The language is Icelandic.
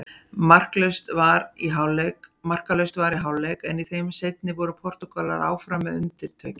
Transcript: Markalaust var í hálfleik en í þeim seinni voru Portúgalar áfram með undirtökin.